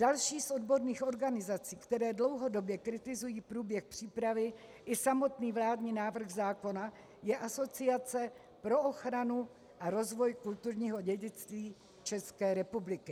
Další z odborných organizací, které dlouhodobě kritizují průběh přípravy i samotný vládní návrh zákona, je Asociace pro ochranu a rozvoj kulturního dědictví České republiky.